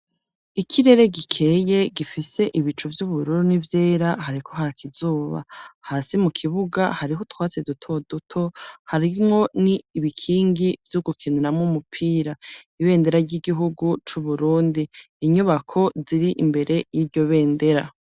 Ikirere gikeye, gifise ibicu vy'ubururu ,n'ivyera hariko hakizuba ,hasi mu kibuga hariho utwatsiduto duto hariho ni ibikingi vy'ugukiniramwo umupira ibendera ry'igihugu c'uburundi, inyubako ziri imbere y'iryo bendera.